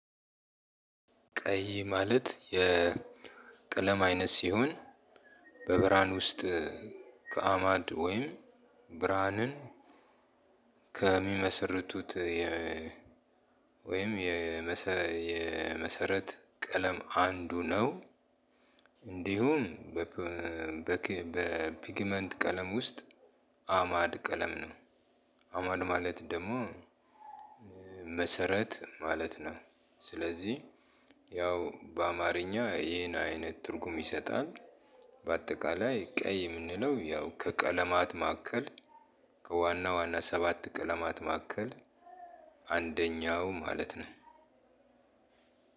ቀይ ማለት የቀለም አይነት ሲሆን በብርሀን ውስጥ ከአማድ ወይም ብርሃንን ከሚመሰርቱት ወይም የመሰረት ቀለም አንዱ ነው እንዲሁም በፒግመንት ቀለም ውስጥ አእማድ ቀለም ነው። አእማድ ማለት ደግሞ መሰረት ማለት ነው። ስለዚህ ያው በአማረኛ ይህንን አይነት ትርጉም ይሰጣል። በአጠቃላይ ቀይ የምንለው ያው ከቀለማት ማዕከል ከዋና ዋና ሰባት ቀለማት ማዕከል አንደኛው ማለት ነው።